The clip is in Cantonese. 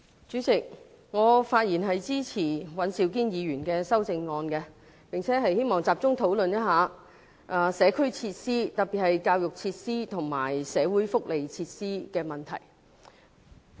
主席，我發言支持尹兆堅議員的修正案，並希望集中討論社區設施，特別是教育設施和社會福利設施的問題。